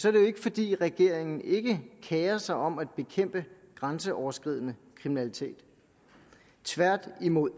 er det jo ikke fordi regeringen ikke kerer sig om at bekæmpe grænseoverskridende kriminalitet tværtimod